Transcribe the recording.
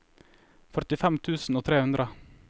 førtifem tusen og tre hundre